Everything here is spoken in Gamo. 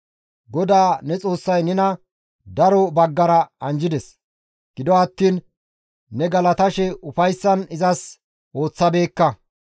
GODAA ne Xoossay nena daro baggara anjjides; gido attiin ne galatashe ufayssan izas ooththabeekka.